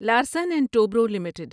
Larsen and Toubro limited